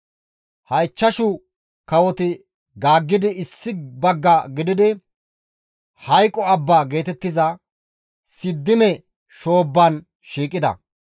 Ha ichchashu kawoti gaaggidi issi bagga gididi, (Hayqo Abba geetettiza) Siddime shoobban shiiqida.